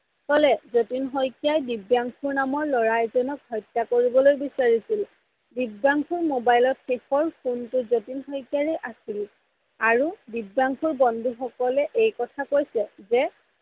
জতিন শইকীয়াই দিব্যাংসু নাম্ৰ লৰা এজনক হত্যা কৰিবলৈ বিচাৰিছিল, দিব্যাংসুৰ mobile ত শেষৰ phone টো জতিন শইকীয়াৰে আছিল আৰু দিব্যাংসুৰ বন্ধু সকলে এই কথা কৈছে যে